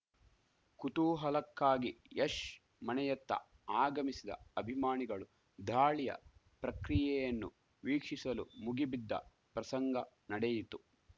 ಕುತೂಹಲಕ್ಕಾಗಿ ಯಶ್‌ ಮನೆಯತ್ತ ಆಗಮಿಸಿದ ಅಭಿಮಾನಿಗಳು ದಾಳಿಯ ಪ್ರಕ್ರಿಯೆಯನ್ನು ವೀಕ್ಷಿಸಲು ಮುಗಿಬಿದ್ದ ಪ್ರಸಂಗ ನಡೆಯಿತು